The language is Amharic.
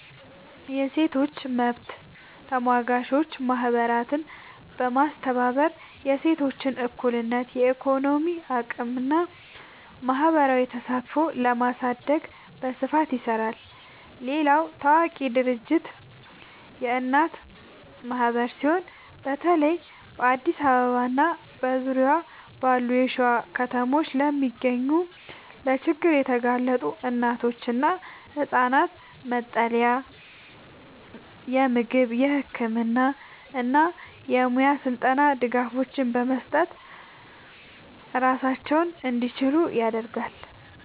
የሴቶች መብት ተሟጋች ማህበራትን በማስተባበር የሴቶችን እኩልነት፣ የኢኮኖሚ አቅምና ማህበራዊ ተሳትፎ ለማሳደግ በስፋት ይሰራል። ሌላው ታዋቂ ድርጅት የእናት ማህበር ሲሆን፣ በተለይ በአዲስ አበባና በዙሪያዋ ባሉ የሸዋ ከተሞች ለሚገኙ ለችግር የተጋለጡ እናቶችና ህጻናት መጠለያ፣ የምግብ፣ የህክምና እና የሙያ ስልጠና ድጋፎችን በመስጠት ራሳቸውን እንዲችሉ ያደርጋል።